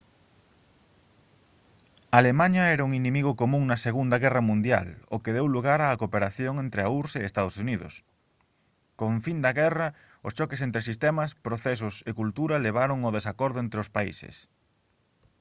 alemaña era un inimigo común na segunda guerra mundial o que deu lugar á cooperación entre a urss e os ee uu con fin da guerra os choques entre sistemas procesos e cultura levaron ao desacordo entre os países